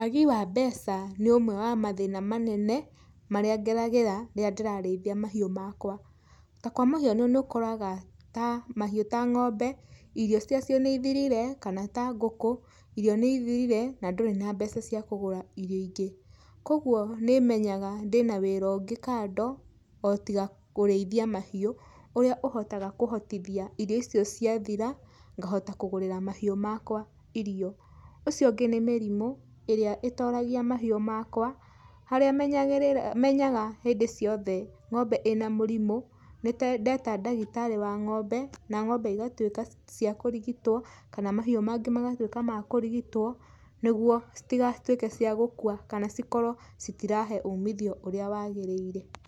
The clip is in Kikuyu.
Wagi wa mbeca nĩ ũmwe wa mathĩna manene, marĩa ngeragĩra rĩrĩa ndĩrarĩithia mahiũ makwa. Ta kwa mũhiano nĩ ũkoraga ta, mahiũ ta ngombe irio ciacio nĩ ithirire, kana ta ngũkũ, irio nĩ ithirire na ndũrĩ na mbeca cia kũgũra irio ingĩ. Kogwo nĩ menyaga ndĩna wĩra ũngĩ kando, o tiga kũrĩithia mahiũ, ũrĩa ũhotaga kũhotithia irio icio cia thira, ngahota kũgũrĩra mahiũ makwa irio. Ũcio ũngĩ nĩ mĩrimũ, iria itoragia mahiũ makwa, harĩa menyaga hĩndĩ ciothe ngombe ina mũrimũ, nĩ ndeta ndagĩtarĩ wa ngombe, na ngombe igatuĩka cia kũrigitwo kana mahiũ mangĩ magatwĩka ma kũrigitwo, nĩgwo citigatuĩke cia gũkua kana cikorwo citirahe umithio ũrĩa wagĩrĩire.